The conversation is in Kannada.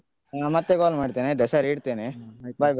ಹಾ ಮತ್ತೆ call ಮಾಡ್ತೇನೆ ಆಯ್ತಾ ಸರಿ ಇಡ್ತೇನೆ bye bye.